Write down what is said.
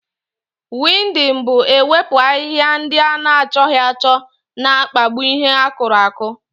Wiidịn bụ ewepu ahịhịa ndị ana achọghị achọ na-akpagbu ihe akùrù aku